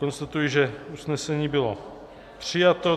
Konstatuji, že usnesení bylo přijato.